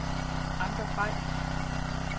Anker Bay